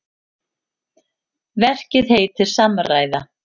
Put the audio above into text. Verkið heitir Samræða.